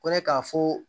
Ko ne k'a fɔ